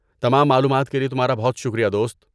تمام معلومات کے لئے تمہارا بہت شکریہ، دوست۔